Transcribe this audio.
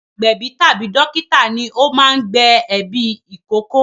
Agbẹ̀bí tàbí dókítà ní o máa ń gbẹ̀ ẹ̀bí ìkókó